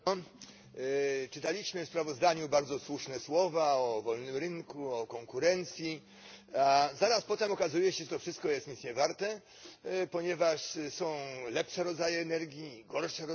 Czytaliśmy w sprawozdaniu bardzo słuszne słowa o wolnym rynku, o konkurencji. Zaraz potem okazuje się, że to wszystko jest nic niewarte, ponieważ są lepsze rodzaje energii, gorsze rodzaje energii.